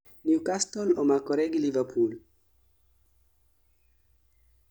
newcastle omakre gi liverpool